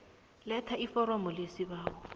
letha iforomo lesibawo